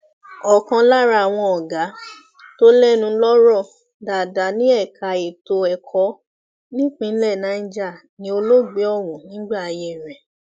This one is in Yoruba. ọkan lára àwọn ọgá tó lẹnu lọrọ dáadáa ní ẹka ètò ẹkọ nípínlẹ niger ni olóògbé ọhún nígbà ayé rẹ